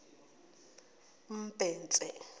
mbhense